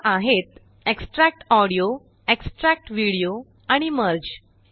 त्या आहेतExtract audio extract video आणिMerge